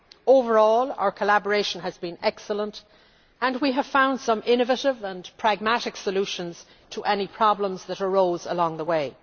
Overall, our collaboration has been excellent and we have found some innovative and pragmatic solutions to any problems that arose along the